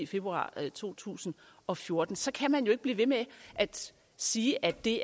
februar to tusind og fjorten så kan man jo ikke blive ved med at sige at det